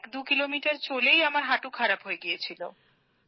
১২ kilometre চলেই আমার হাঁটু খারাপ হয়ে গেছিল